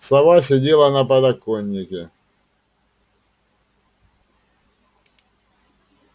сова сидела на подоконнике